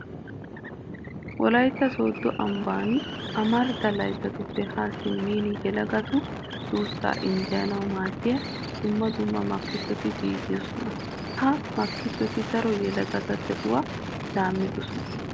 Wolaytta sooddo ambban amarida layttatuppe Haa simmin yelagatu duussaa injjeyanawu maaddiya dumma dumma makkisoti giigoosona. Ha makkisoti daro yelagatu de'uwa laammidosona.